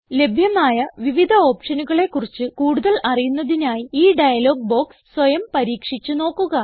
ലഭ്യമായ വിവിധ ഓപ്ഷനുകളെ കുറിച്ച് കൂടുതൽ അറിയുന്നതിനായി ഈ ഡയലോഗ് ബോക്സ് സ്വയം പരീക്ഷിച്ച് നോക്കുക